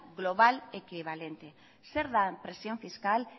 global equivalente zer da presión fiscal